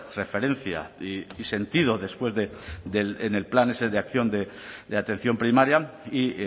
referencia y sentido después de en el plan ese de acción de atención primaria y